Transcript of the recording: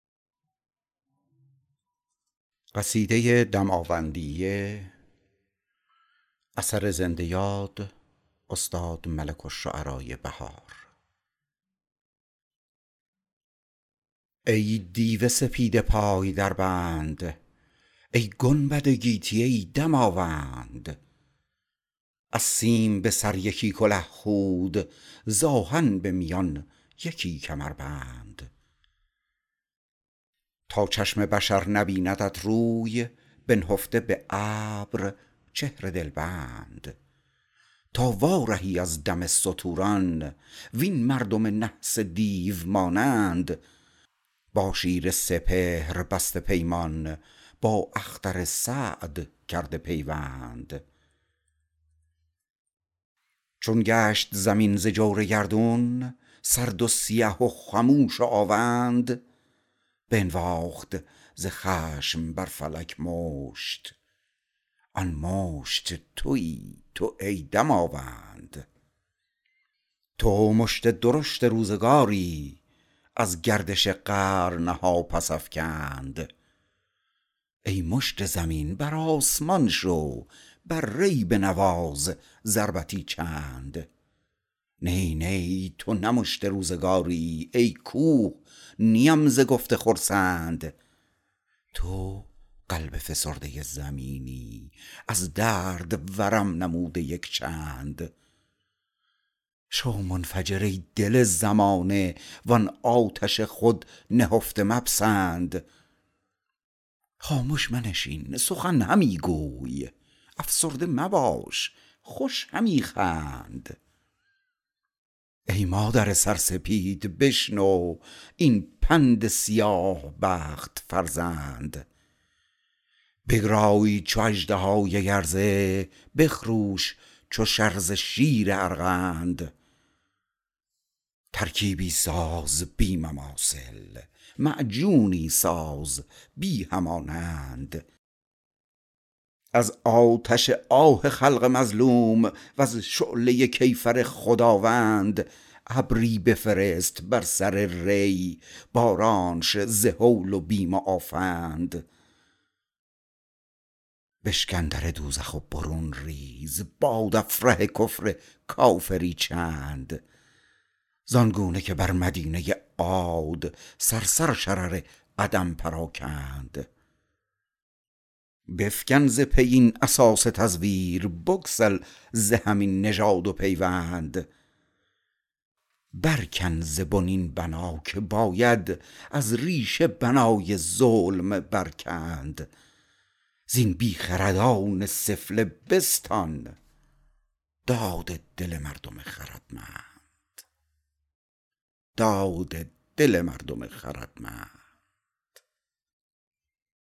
ای دیو سپید پای در بند ای گنبد گیتی ای دماوند از سیم به سر یکی کله خود ز آهن به میان یکی کمربند تا چشم بشر نبیندت روی بنهفته به ابر چهر دلبند تا وارهی از دم ستوران وین مردم نحس دیو مانند با شیر سپهر بسته پیمان با اختر سعد کرده پیوند چون گشت زمین ز جور گردون سرد و سیه و خموش و آوند بنواخت ز خشم بر فلک مشت آن مشت تویی تو ای دماوند تو مشت درشت روزگاری از گردش قرن ها پس افکند ای مشت زمین بر آسمان شو بر ری بنواز ضربتی چند نی نی تو نه مشت روزگاری ای کوه نیم ز گفته خرسند تو قلب فسرده زمینی از درد ورم نموده یک چند تا درد و ورم فرو نشیند کافور بر آن ضماد کردند شو منفجر ای دل زمانه وان آتش خود نهفته مپسند خامش منشین سخن همی گوی افسرده مباش خوش همی خند پنهان مکن آتش درون را زین سوخته جان شنو یکی پند گر آتش دل نهفته داری سوزد جانت به جانت سوگند بر ژرف دهانت سخت بندی بر بسته سپهر زال پرفند من بند دهانت برگشایم ور بگشایند بندم از بند از آتش دل برون فرستم برقی که بسوزد آن دهان بند من این کنم و بود که آید نزدیک تو این عمل خوشایند آزاد شوی و بر خروشی ماننده دیو جسته از بند هرای تو افکند زلازل از نیشابور تا نهاوند وز برق تنوره ات بتابد ز البرز اشعه تا به الوند ای مادر سرسپید بشنو این پند سیاه بخت فرزند برکش ز سر این سپید معجر بنشین به یکی کبود اورند بگرای چو اژدهای گرزه بخروش چو شرزه شیر ارغند ترکیبی ساز بی مماثل معجونی ساز بی همانند از نار و سعیر و گاز و گوگرد از دود و حمیم و صخره و گند از آتش آه خلق مظلوم و از شعله کیفر خداوند ابری بفرست بر سر ری بارانش ز هول و بیم و آفند بشکن در دوزخ و برون ریز بادافره کفر کافری چند زانگونه که بر مدینه عاد صرصر شرر عدم پراکند چونان که بشارسان پمپی ولکان اجل معلق افکند بفکن ز پی این اساس تزویر بگسل ز هم این نژاد و پیوند برکن ز بن این بنا که باید از ریشه بنای ظلم برکند زین بیخردان سفله بستان داد دل مردم خردمند